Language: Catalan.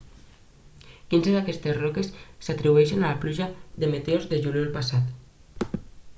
quinze d'aquestes roques s'atribueixen a la pluja de meteors del juliol passat